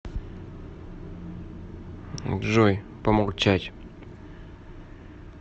джой помолчать